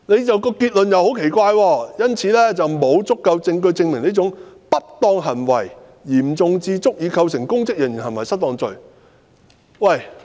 這段結論也很奇怪，"故此，沒有足夠證據證明這種不當行為嚴重至足以構成公職人員行為失當罪"。